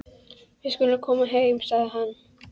Við skulum koma heim, segir hann.